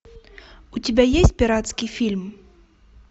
у тебя есть пиратский фильм